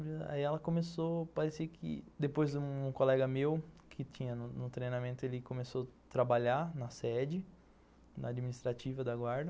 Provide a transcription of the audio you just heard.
Aí ela começou a parecer que, depois um colega meu que tinha no treinamento, ele começou a trabalhar na sede, na administrativa da guarda.